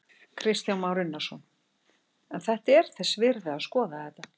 Kristján Már Unnarsson: En þetta er þess virði að skoða þetta?